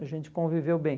A gente conviveu bem.